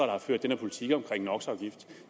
har ført den politik om